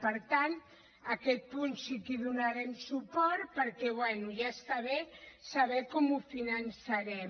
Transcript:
per tant a aquest punt sí que hi donarem suport perquè bé ja està bé saber com ho finançarem